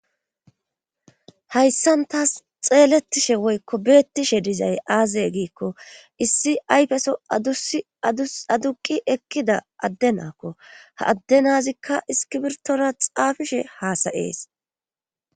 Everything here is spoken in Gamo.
Hayssan taas xeelettishe woykko beettishe dizay aazaye giikko issi ayfeso uaduqi ekkida adde naakko ha adde nazikka iskibirtora xaafishe haasayees